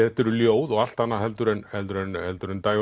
þetta eru ljóð og allt annað heldur en heldur en heldur en